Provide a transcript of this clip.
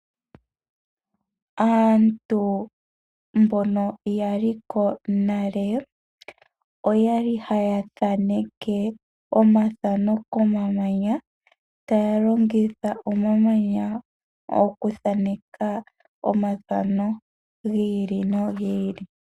Aantu mbono ya li ko nale oyali haya thaneke omathano komamanya taya longitha omamanya okuthaneka omathano gi ili nogi ili.